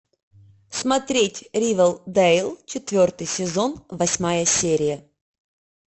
смотреть ривердейл четвертый сезон восьмая серия